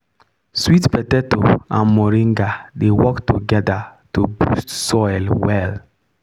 sweet potato and moringa dey work together to boost soil well.